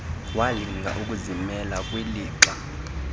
walinga ukuzimela kwilixa